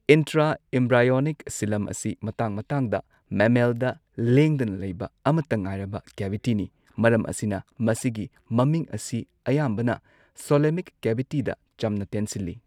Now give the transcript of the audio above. Intraembryonic ꯁꯤꯂꯝ ꯑꯁꯤ ꯃꯇꯥꯡ ꯃꯇꯥꯡꯗ ꯃꯦꯃꯦꯜꯗ ꯂꯦꯡꯗꯅ ꯂꯩꯕ ꯑꯃꯠꯇ ꯉꯥꯏꯔꯕ ꯀꯦꯚꯤꯇꯤꯅꯤ, ꯃꯔꯝ ꯑꯁꯤꯅ ꯃꯁꯤꯒꯤ ꯃꯃꯤꯡ ꯑꯁꯤ ꯑꯌꯥꯝꯕꯅ ꯁꯨꯂꯣꯃꯤꯛ ꯀꯦꯚꯤꯇꯤꯗ ꯆꯝꯅ ꯇꯦꯟꯁꯤꯜꯂꯤ ꯫